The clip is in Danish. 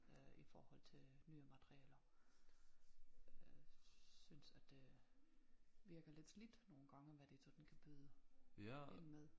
Øh i forhold til nye materiale øh synes at det virker lidt slidt nogle gange hvad de sådan kan byde ind med